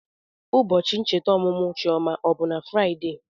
Ụbọchị ncheta ọmụmụ Chioma ọ bụ Fraịdee?